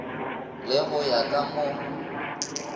le go ya ka mo